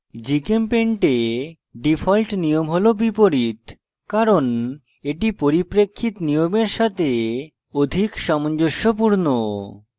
gchempaint এ default নিয়ম হল বিপরীত কারণ এটি পরিপ্রেক্ষিত নিয়মের সাথে অধিক সামঞ্জস্যপূর্ণ